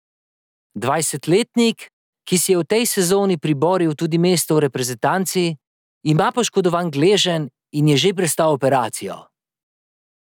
Dvajsetletnik, ki si je v tej sezoni priboril tudi mesto v reprezentanci, ima poškodovan gleženj in je že prestal operacijo.